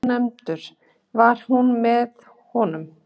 Ónefndur: Var hún með honum?